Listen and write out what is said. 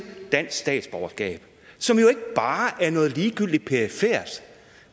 dansk statsborgerskab som jo ikke bare er noget ligegyldigt perifert